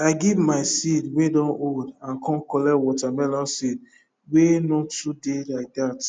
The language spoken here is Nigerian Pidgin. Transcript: i give my seed wey don old and com collect watermelon seed wey no too dey like that